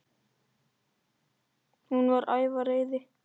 Hún var æf af reiði.